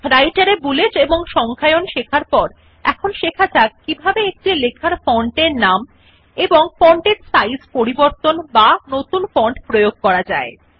রাইটের এ বুলেট ও নম্বর দেওয়া শেখার পর এখন শেখা যাক কিভাবে কোন লেখার ফন্ট এর নাম এবং ফন্ট সাইজ পরিবর্তন করা বা প্রয়োগ করা যায়